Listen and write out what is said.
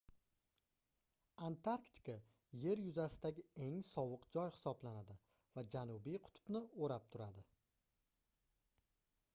antarktika yer yuzasidagi eng sovuq joy hisoblanadi va janubiy qutbni oʻrab turadi